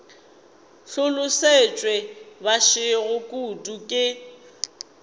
hlolosetšwe ba gešo kudu ke